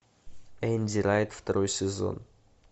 энди райт второй сезон